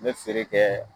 N bɛ feere kɛ